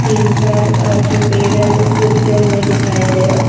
तीन चार अ जो पेड़ है वह सूखे हुए दिखाई दे रहे --